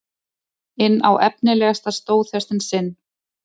inn á efnilegasta stóðhestinn sinn.